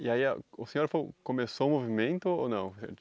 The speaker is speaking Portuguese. E aí ah, o senhor foi começou o movimento ou não?